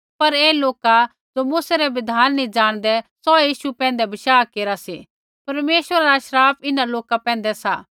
पर ऐ लोका ज़ो मूसै रा बिधान नी जाणदै सौहै यीशु पैंधै बशाह केरा सी परमेश्वरा रा श्राप इन्हां लोका पैंधै सा